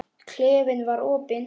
Klefinn var opinn.